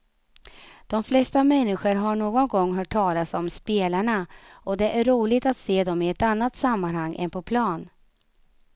De flesta människor har någon gång hört talas om spelarna och det är roligt att se dem i ett annat sammanhang än på plan.